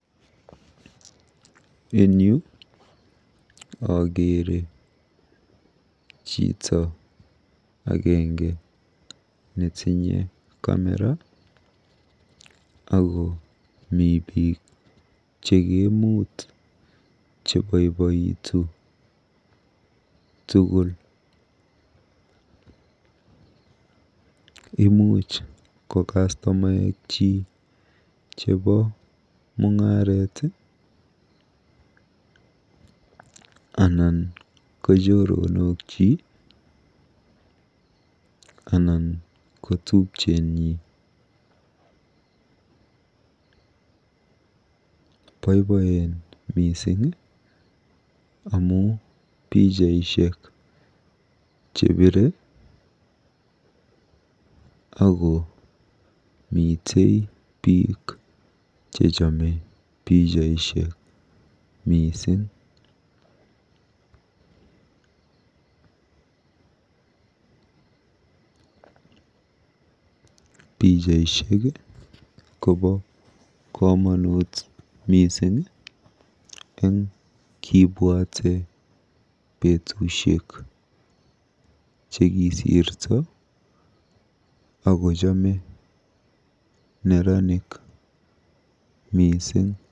En yu akeere chito agenge netinye camera ako mi biik chekeemut cheboibojin tugul. Imuuch ko kastomainikyik chebo mung'aret anan ko choronokyi, anan ko tupchenyin. Boiboen mising amu pichaishek chepire ako mitei biik chechamme pichaishek mising. Pichaishek kobo komonut mising eng kibwate betusiek chekisirto ako chome neranik mising.